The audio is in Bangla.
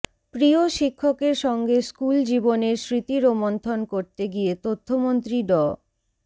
প্রিয় শিক্ষকের সঙ্গে স্কুল জীবনের স্মৃতি রোমন্থন করতে গিয়ে তথ্যমন্ত্রী ড